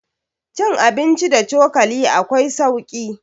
cin abinci da cokali akwai sauki